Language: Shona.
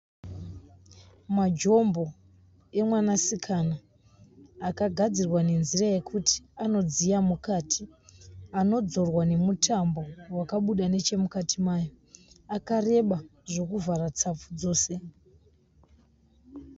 Majombo emwanasikana akagadzirwa nenzira yekuti anodziya mukati. Anodzorwa nemutambo wakabuda nechemukati mayo. Akareba zvekuvhara tsapfu dzose.